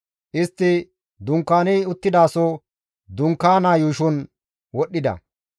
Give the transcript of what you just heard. Istti dunkaani uttidaso dunkaanaa yuushon wodhdhida.